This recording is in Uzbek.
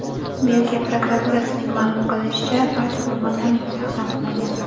Belgiya prokuraturasining ma’lum qilishicha, barcha qurbonlarning shaxsi aniqlangan.